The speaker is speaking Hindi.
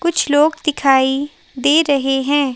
कुछ लोग दिखाई दे रहे हैं।